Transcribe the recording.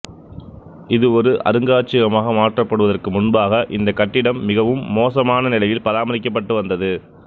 இது ஒரு அருங்காட்சியகமாக மாற்றப்படுவதற்கு முன்பாக இந்தக் கட்டிடம் மிகவும் மோசமான நிலையில் பராமரிக்கப்பட்டு வந்தது